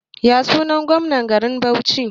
Yasunan gomnan garin Bauchi?